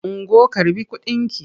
Ungo karɓi kudinki!